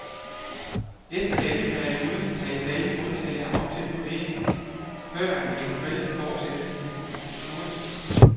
Efter denne periode tages alle modtagere op til vurdering, førend eventuel fortsættelse besluttes.